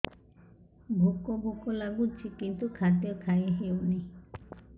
ଭୋକ ଭୋକ ଲାଗୁଛି କିନ୍ତୁ ଖାଦ୍ୟ ଖାଇ ହେଉନି